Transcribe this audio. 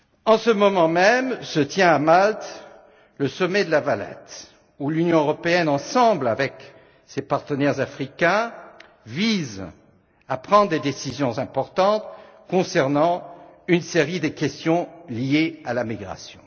En ce moment même se tient, à Malte, le sommet de La Valette, où l'Union européenne, avec ses partenaires africains, vise à prendre des décisions importantes concernant une série de questions liées à la migration.